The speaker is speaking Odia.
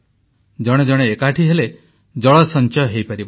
ଜଣେ ଜଣେ ଏକାଠି ହେଲେ ଜଳ ସଞ୍ଚୟ ହୋଇପାରିବ